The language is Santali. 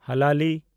ᱦᱟᱞᱟᱞᱤ